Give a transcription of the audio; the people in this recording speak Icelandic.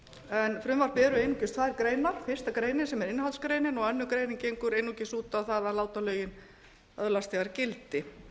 en frumvarpið er einungis tvær greinar fyrstu grein sem er innihaldsgrein og aðra grein gengur einungis út á það að láta lögin öðlast þegar gildi